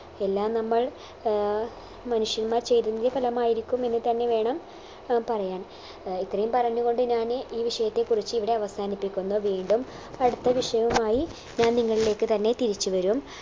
എല്ലാം നമ്മൾ ഏർ മനുഷ്യന്മാർ ചെയ്തതിൻറെ ഫലമായിരിക്കും എന്ന് തന്നെ വേണം ഏർ പറയാൻ ഏർ ഇത്രയും പറഞ്ഞുകൊണ്ട് ഞാൻ ഈ വിഷയത്തെ കുറിച്ച് ഇവിടെ അവസാനിപ്പിക്കുന്നു വീണ്ടും അടുത്ത വിഷയവുമായി ഞാൻ നിങ്ങളിലേക്ക് തന്നെ തിരിച്ചു വരും